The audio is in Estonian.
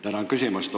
Tänan küsimast!